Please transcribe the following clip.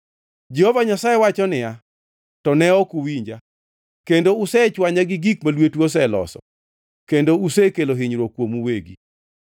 Jehova Nyasaye wacho niya, “To ne ok uwinja, kendo usechwanya gi gik ma lwetu oseloso, kendo usekelo hinyruok kuomu uwegi.”